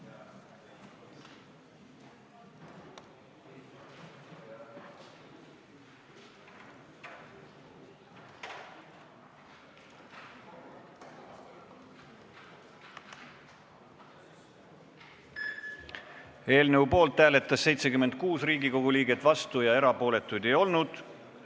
Hääletustulemused Eelnõu poolt hääletas 76 Riigikogu liiget, vastuolijaid ega erapooletuid ei olnud.